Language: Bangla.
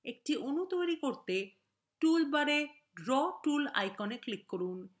একটি অণু তৈরি করতে tool bar draw tool icon click করুন